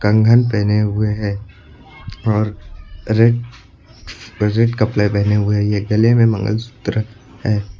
कंगन पहने हुए हैं और रेड रेड कपड़े पहने हुए है ये। गले में मंगलसूत्र है।